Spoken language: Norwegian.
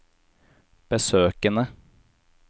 besøkene